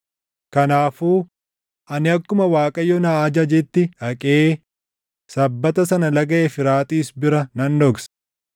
Kanaafuu ani akkuma Waaqayyo na ajajetti dhaqee sabbata sana Laga Efraaxiis bira nan dhokse.